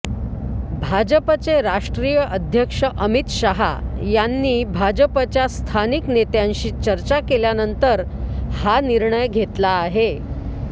भाजपचे राष्ट्रीय अध्यक्ष अमित शहा यांनी भाजपच्या स्थानिक नेत्यांशी चर्चा केल्यानंतर हा निर्णय घेतला आहे